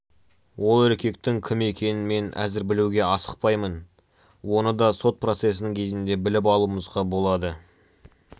ол еркектің кім екенін мен әзір білуге асықпаймын оны да сот процесінің кезінде біліп алуымызға болады